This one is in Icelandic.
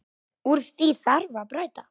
Úr því þarf að bæta.